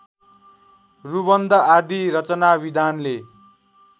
रुबन्ध आदि रचनाविधानले